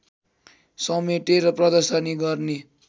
समेटेर प्रदर्शनी गर्ने